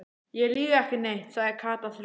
Ég lýg ekki neitt sagði Kata þrjósk.